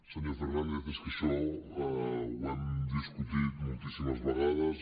senyor fernández és que això ho hem discutit moltíssimes vegades